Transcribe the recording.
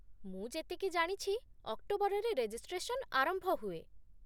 ମୁଁ ଯେତିକି ଜାଣିଛି, ଅକ୍ଟୋବରରେ ରେଜିଷ୍ଟ୍ରେସନ୍ ଆରମ୍ଭ ହୁଏ।